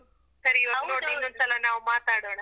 ಇನ್ನೊಂದ್ ಸಲ ನಾವು ಮಾತಾಡೋಣ.